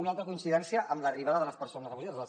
una altra coincidència amb l’arribada de les persones refugiades